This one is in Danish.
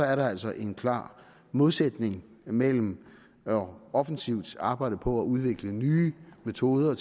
er der altså en klar modsætning mellem offensivt at arbejde på at udvikle nye metoder og